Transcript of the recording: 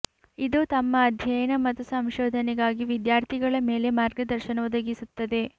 ಇದು ತಮ್ಮ ಅಧ್ಯಯನ ಮತ್ತು ಸಂಶೋಧನೆಗಾಗಿ ವಿದ್ಯಾರ್ಥಿಗಳ ಮೇಲೆ ಮಾರ್ಗದರ್ಶನ ಒದಗಿಸುತ್ತದೆ